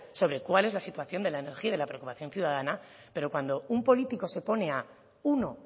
sobre cuál es la situación de la energía y de la preocupación ciudadana pero cuando un político se pone uno